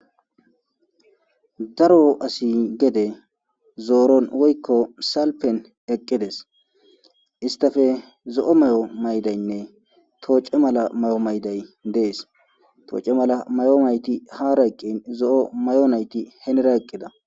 daro asi gede zooron woykko salpen eqqides istafe zo7o may7o maydaynne tooce mala may7o mayday dees tooce mala may7o nayti hara eqqin zo7o may7o nayti henera eqqida